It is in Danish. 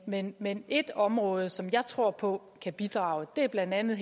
men men et område som jeg tror på kan bidrage er blandt andet